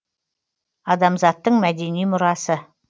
адамзаттың мәдени мұрасы